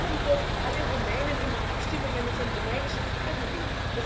Und warum dürfen alle Rumänen immer abstimmen, wenn es um rumänische Fragen geht?